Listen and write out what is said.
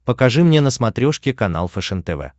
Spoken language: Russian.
покажи мне на смотрешке канал фэшен тв